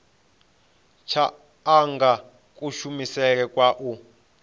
tsha anga kushumele kwa u